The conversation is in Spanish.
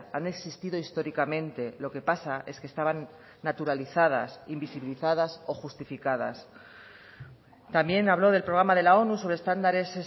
han existido históricamente lo que pasa es que estaban naturalizadas invisibilizadas o justificadas también habló del programa de la onu sobre estándares